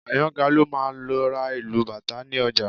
Àyàngalú máa lọ ra ìlù bàtá ní ọjà